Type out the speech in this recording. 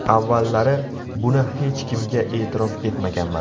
Avvallari buni hech kimga e’tirof etmaganman.